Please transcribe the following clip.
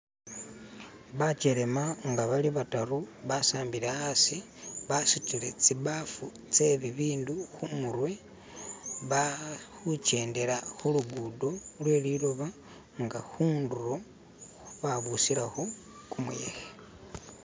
bakyelema nga balibataru basambile asi basutile tsibafu tsebibindu humurwe bali hukyendela hulugudo hweliloba nga hunduro babusilaho kumuyehe